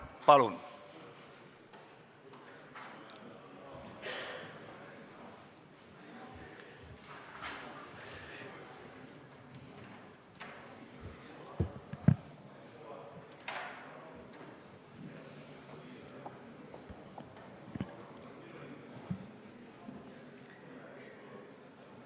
Palun!